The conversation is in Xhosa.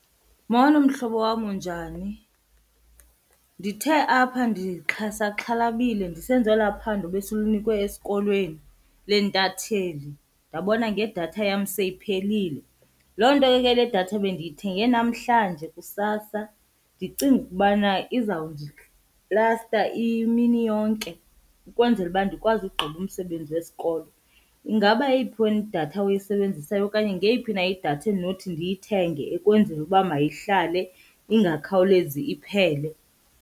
Molo, mhlobo wam. Unjani? Ndithe apha ndisaxhalabile ndisenza olaa phando besilunikwe esikolweni leentatheli ndabona ngedatha yam seyiphelile. Loo nto ke le datha bendiyithenge namhlanje kusasa ndicinga ukubana izawundilasta imini yonke ukwenzela uba ndikwazi ugqiba umsebenzi wesikolo. Ingaba yeyiphi wena idatha oyisebenzisayo okanye ngeyiphi na idatha endinothi ndiyithenge ukwenzela uba mayihlale ingakhawulezi iphele.